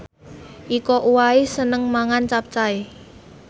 Iko Uwais seneng mangan capcay